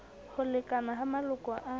ho lekana ha maloko a